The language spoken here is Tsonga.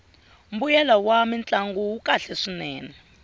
mbuyelo wa swamintlangu wu kahle swinene